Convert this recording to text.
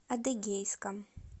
адыгейском